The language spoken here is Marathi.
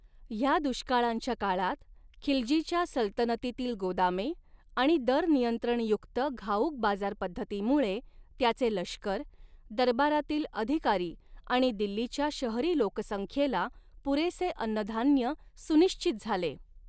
ह्या दुष्काळांच्या काळात, खिलजीच्या सल्तनतीतील गोदामे आणि दरनियंत्रणयुक्त घाऊक बाजारपद्धतीमुळे त्याचे लष्कर, दरबारातील अधिकारी आणि दिल्लीच्या शहरी लोकसंख्येला पुरेसे अन्नधान्य सुनिश्चित झाले.